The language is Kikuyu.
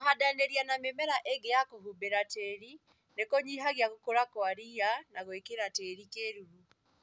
Kũhandanĩria na mĩmera ĩngĩ ya kũhumbĩra tĩri nĩkũnyihagia gũkũra kwa ria na gwĩkĩra tĩri kĩruru